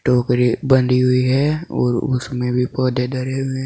टोकरी बनी हुई है और उसमें भी पौधे धरे हुए हैं।